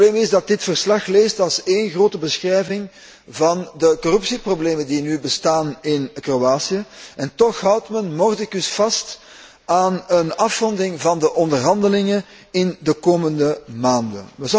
Het probleem is dat dit verslag leest als één grote beschrijving van de corruptieproblemen die nu bestaan in Kroatië en toch houdt men mordicus vast aan een afronding van de onderhandelingen in de komende maanden.